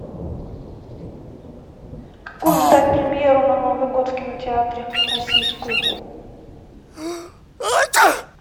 какую ждать премьеру на новый год в кинотеатре российскую